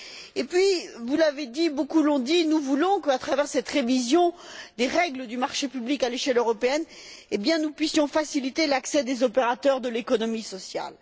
En outre, vous l'avez dit, beaucoup l'ont dit, nous voulons qu'à travers cette révision des règles du marché public à l'échelle européenne, nous puissions faciliter l'accès des opérateurs de l'économie sociale.